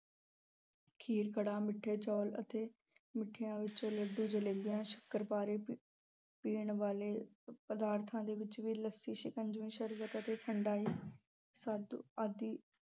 ਖੀਰ, ਕੜਾਹ, ਮਿੱਠੇ ਚੌਲ ਅਤੇ ਮਿੱਠਿਆਂ ਵਿੱਚ ਲੱਡੂ, ਜਲੇਬੀਆਂ, ਸ਼ੱਕਰਪਾਰੇ, ਅਹ ਪੀਣ ਵਾਲੇ ਪਦਾਰਥਾਂ ਦੇ ਵਿੱਚ ਵੀ ਲੱਸੀ, ਸ਼ਿੰਕਜਵੀ, ਸ਼ਰਬਤ ਅਤੇ ਠੰਡਾਈ ਅਹ ਆਦਿ